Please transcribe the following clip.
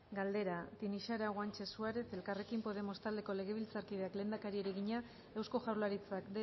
galdera tinixara guanche suárez elkarrekin podemos taldeko legebiltzarkideak lehendakariari egina eusko jaurlaritzak